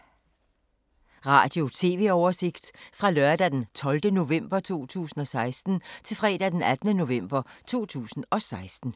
Radio/TV oversigt fra lørdag d. 12. november 2016 til fredag d. 18. november 2016